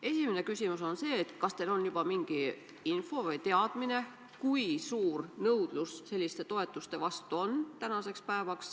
Esimene küsimus on see, kas teil on juba mingi teadmine, kui suur nõudlus selliste toetuste järele on?